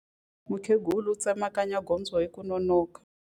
Mukhegula u tsemakanya gondzo hi ku nonoka.